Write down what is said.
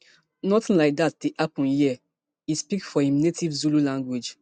nothing like dat dey happun hia e speak for im native zulu language